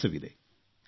ವಿಶ್ವಾಸವಿದೆ